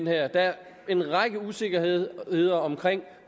her der er en række usikkerheder om